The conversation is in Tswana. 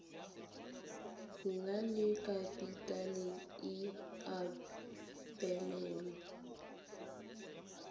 nang le kapitale e abelanwang